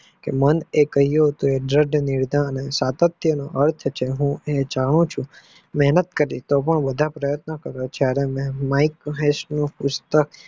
મૈકમહેકએ કહ્યું હતું દ્રદ વીરતા સાતતયનો અર્થ છે હું જાણું છુ મેહનત કરીને વધારે પાર્યોન્ત કરીશ મૈક હેસ નું પુસ્તક